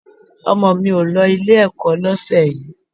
Ọmọ mi ò lọ Ilé-ẹ̀kọ́ lọ́sẹ̀ yìí